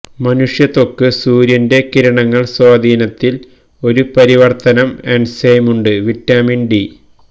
മനുഷ്യ ത്വക്ക് സൂര്യന്റെ കിരണങ്ങൾ സ്വാധീനത്തിൽ ഒരു പരിവർത്തനം എൻസൈം ഉണ്ട് വിറ്റാമിൻ ഡി